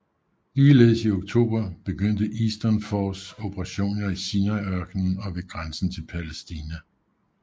Ligeledes i oktober begyndte Eastern Force operationer i Sinaiørkenen og ved grænsen til Palæstina